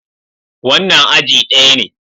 Wannan aji daya ne.